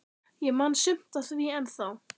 Ég man sumt af því ennþá.